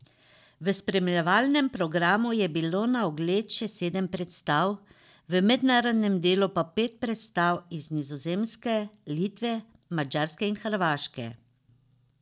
V spremljevalnem programu je bilo na ogled še sedem predstav, v mednarodnem delu pa pet predstav iz Nizozemske, Litve, Madžarske in Hrvaške.